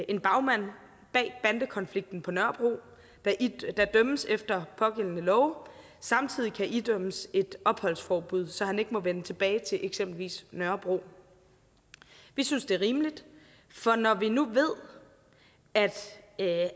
en bagmand bag bandekonflikten på nørrebro der dømmes efter pågældende love samtidig kan idømmes et opholdsforbud så han ikke må vende tilbage til eksempelvis nørrebro vi synes det er rimeligt for når vi nu ved at